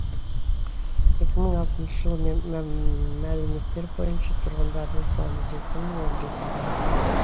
екі мың алтыншы жылғы мәліметтер бойынша тұрғындарының саны жеті мың он жеті адамды құрайды